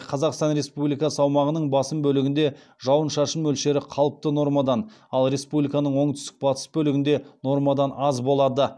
қазақстан республикасы аумағының басым бөлігінде жауын шашын мөлшері қалыпты нормадан ал республиканың оңтүстік батыс бөлігінде нормадан аз болады